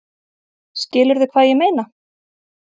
Skilurðu hvað ég meina?